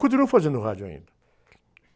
Continuo fazendo rádio ainda.